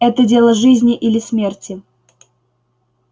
это дело жизни или смерти